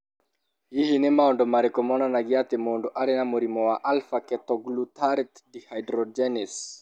Hihi nĩ maũndũ marĩkũ monanagia atĩ mũndũ arĩ na mũrimũ wa Alpha ketoglutarate dehydrogenase?